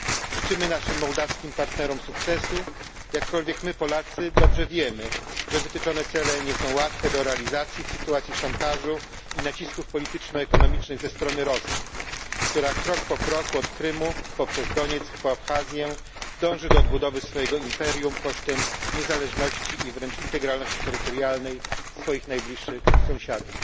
Życzymy naszym mołdawskim partnerom sukcesu, jakkolwiek my, Polacy, dobrze wiemy, że wytyczone cele nie są łatwe do realizacji w sytuacji szantażu i nacisków polityczno ekonomicznych ze strony Rosji, która krok po kroku, od Krymu poprzez Donieck po Abchazję, dąży do odbudowy swojego imperium kosztem niezależności i wręcz integralności terytorialnej swoich najbliższych sąsiadów.